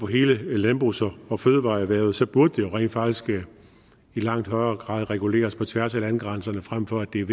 på hele landbrugs og og fødevareerhvervet så burde det rent faktisk i langt højere grad reguleres på tværs af landegrænserne frem for at det er